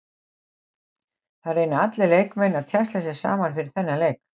Það reyna allir leikmenn að tjasla sér saman fyrir þennan leik.